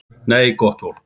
Nei, gott fólk.